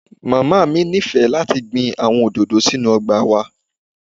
Mama mi nifẹ lati gbin awọn ododo sinu ọgba wa.